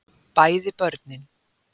bæði börn